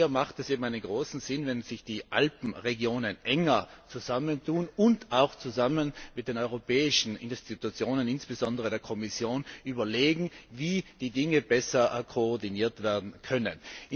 Hier ergibt es großen Sinn, wenn sich die Alpenregionen enger zusammentun und auch zusammen mit den europäischen Organen, insbesondere der Kommission, überlegen, wie die Dinge besser koordiniert werden können.